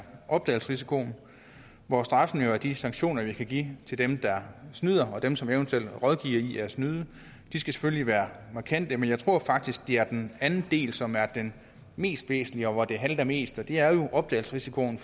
opdagelsesrisikoen hvor straffen jo er de sanktioner vi kan give til dem der snyder og dem som eventuelt rådgiver i at snyde de skal selvfølgelig være markante men jeg tror faktisk at det er den anden del som er den mest væsentlige og hvor det halter mest og det er opdagelsesrisikoen